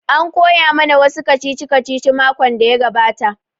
An koya ma na wa su kacici kacici makon da ya gabata